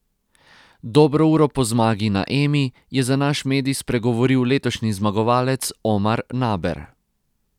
Dobro uro po zmagi na Emi je za naš medij spregovoril letošnji zmagovalec Omar Naber.